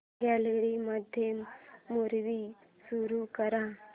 gallery मध्ये movie सुरू कर